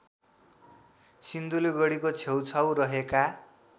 सिन्धुलीगढीको छेउछाउ रहेका